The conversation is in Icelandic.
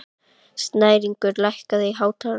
Snæringur, lækkaðu í hátalaranum.